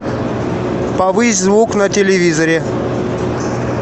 повысь звук на телевизоре